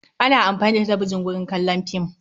Ana amfani da talbijan wurin kallon fim.